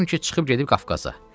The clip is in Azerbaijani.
Eşitdim ki, çıxıb gedib Qafqaza.